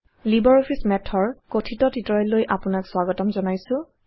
LibreOffice Math ৰ কথিত টিউটৰিয়েললৈ আপোনাক স্বাগতম জনাইছোঁ